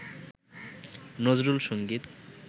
Nazrul Sangeet